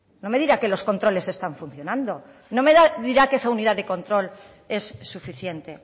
no me diga que los controles están funcionando no me dirá que esa unidad de control es suficiente